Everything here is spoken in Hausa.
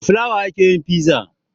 Da fulawa ake yin fiza